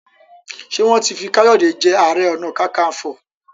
Ṣe wọn tí fí Kayode je aré ọnà kankanfo?